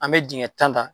An bɛ dingɛ tan ta